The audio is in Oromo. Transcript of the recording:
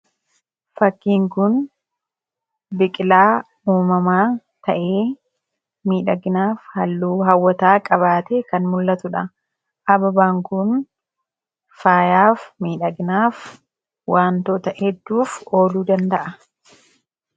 Fakkiin kun biqilaa uumamaa ta'ee, miidhaginaaf halluu hawwataa qabaatee kan mul'atudha. Hababaan kun faayaaf, miidhaginaaf, waantota hedduuf ooluu danda'a.